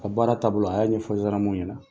Ka baara taabolo a y'a ɲɛfɔ ɲɛna.